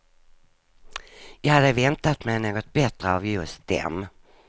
Jag hade väntat mig något bättre av just dem.